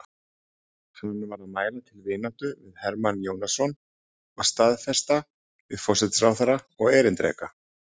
Hann var að mæla til vináttu við Hermann Jónasson og staðfesta við forsætisráðherra og erindreka